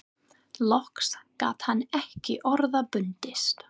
Loks gat hann ekki orða bundist